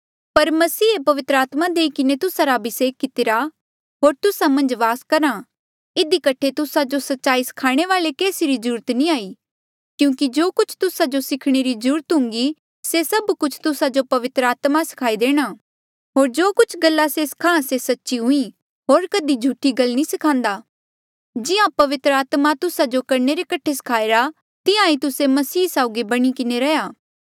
पर मसीहे पवित्र आत्मा देई किन्हें तुस्सा रा अभिसेक कितिरा होर तुस्सा मन्झ वास करहा इधी कठे तुस्सा जो सच्चाई स्खाणे वाले केसी री ज्रूरत नी हाई क्यूंकि जो कुछ तुस्सा जो सिखणे री ज्रूरत हुन्घी से सभ कुछ तुस्सा जो पवित्र आत्मा स्खाई देणा होर जो कुछ गल्ला से स्खाहां से सच्ची हुई होर कधी झूठी गल नी स्खान्दा जिहां पवित्र आत्मा तुस्सा जो करणे रे कठे स्खाईरा तिहां ही तुस्से मसीह साउगी बणी किन्हें रैहया